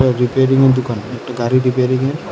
রিপেয়ারিংয়ের দোকান একটা গাড়ি রিপেয়ারিংয়ের--